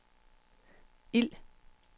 ild